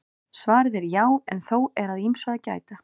Svarið er já en þó er að ýmsu að gæta.